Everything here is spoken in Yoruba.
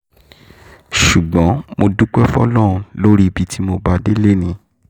ṣùgbọ́n mo dúpẹ́ fọlọ́run lórí ibi tí mo bá a dé lónìí